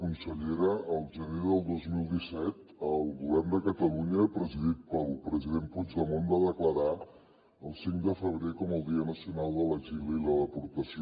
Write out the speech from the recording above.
consellera al gener del dos mil disset el govern de catalunya presidit pel president puigdemont va declarar el cinc de febrer com el dia nacional de l’exili i la deportació